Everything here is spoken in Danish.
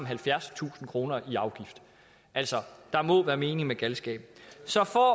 halvfjerdstusind kroner i afgift altså der må være mening med galskaben så for